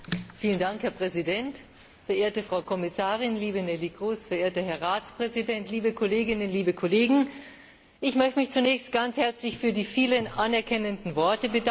Herr Präsident, verehrte Frau Kommissarin, liebe Neelie Kroes, verehrter Herr Ratspräsident, liebe Kolleginnen und Kollegen! Ich möchte mich zunächst ganz herzlich für die vielen anerkennenden Worte bedanken.